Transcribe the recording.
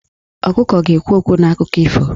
Ọkụkọ ga-ekwu okwu n'akụkọ ifo ahụ.